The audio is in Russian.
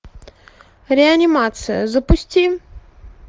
реанимация запусти